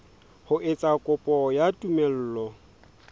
ho etsa kopo ya tumello